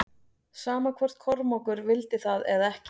Sama hvort Kormákur vildi það eða ekki.